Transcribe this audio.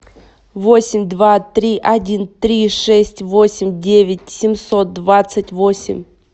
восемь два три один три шесть восемь девять семьсот двадцать восемь